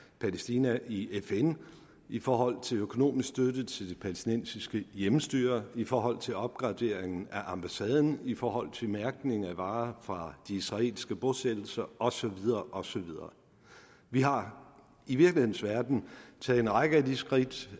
palæstina i fn i forhold til økonomisk støtte til det palæstinensiske hjemmestyre i forhold til opgraderingen af ambassaden i forhold til mærkning af varer fra de israelske bosættelser og så videre og så videre vi har i virkelighedens verden taget en række af de skridt